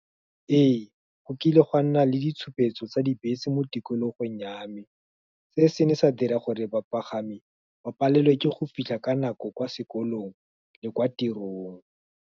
Ee, go kile gwa nna le ditshupetso tsa dibese mo tikologong ya me, se se ne sa dira gore bapagami, ba palelwe ke go fitlha ka nako kwa sekolong, le kwa tirong.